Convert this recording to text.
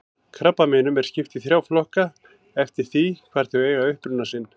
Krabbameinum er skipt í þrjá flokka eftir því hvar þau eiga uppruna sinn.